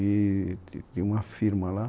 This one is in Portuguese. E tinha uma firma lá.